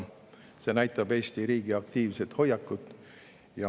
See näitab Eesti riigi aktiivset hoiakut.